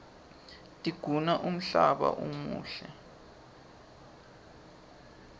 tiguna umhlaba umuhle